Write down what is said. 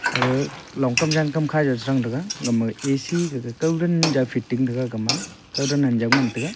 aga longkam jankam khajaw chrang taiga egama A_C gaga kawran jaw fitting taiga egama kawdan anjaw ngan taiga.